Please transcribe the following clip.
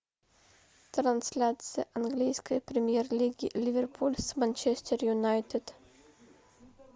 трансляция английской премьер лиги ливерпуль с манчестер юнайтед